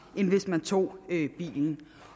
end hvis de tog bilen